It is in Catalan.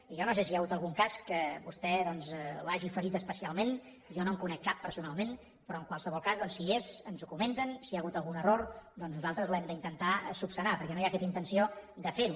i jo no sé si hi ha hagut algun cas que a vostè doncs l’hagi ferit especialment jo no en conec cap personalment però en qualsevol cas doncs si hi és ens ho comenten i si hi ha hagut algun error nosaltres l’hem d’intentar corregir perquè no hi ha aquesta intenció de fer ho